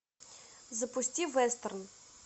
запусти вестерн